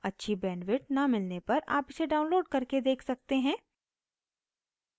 अच्छी bandwidth न मिलने पर आप इसे download करके देख सकते हैं